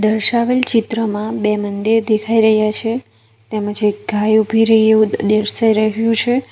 દર્શાવેલ ચિત્રમાં બે મંદિર દેખાઈ રહ્યા છે તેમજ એક ગાય ઊભી રહી હોય એવું દર્શાઈ રહ્યું છે.